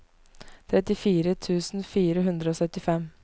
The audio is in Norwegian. trettifire tusen fire hundre og syttifem